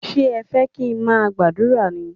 Ṣé ẹ fẹ́ kí n má gbàdúrà ní?